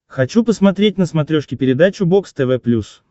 хочу посмотреть на смотрешке передачу бокс тв плюс